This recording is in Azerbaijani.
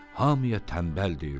Hamıya tənbəl deyirdi.